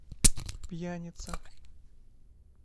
пьяница